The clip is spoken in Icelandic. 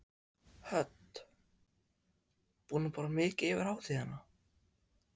Hödd: Búinn að borða mikið yfir hátíðina?